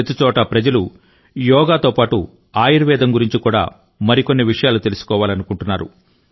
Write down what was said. ప్రతిచోటా ప్రజలు యోగా తో పాటు ఆయుర్వేదం గురించి కూడా మరి కొన్ని విషయాలు తెలుసుకోవాలనుకుంటున్నారు